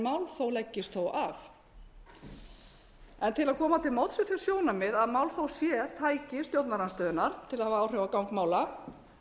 málþóf leggist þó af en til að koma til móts við þau sjónarmið að málþóf sé tæki stjórnarandstöðunnar til að hafa áhrif á gang mála